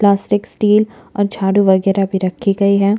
Plastic steel और झाड़ू वेगरा भी रखे गई है।